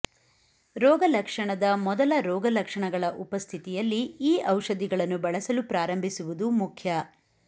ರೋಗಲಕ್ಷಣದ ಮೊದಲ ರೋಗಲಕ್ಷಣಗಳ ಉಪಸ್ಥಿತಿಯಲ್ಲಿ ಈ ಔಷಧಿಗಳನ್ನು ಬಳಸಲು ಪ್ರಾರಂಭಿಸುವುದು ಮುಖ್ಯ